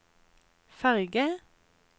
ferge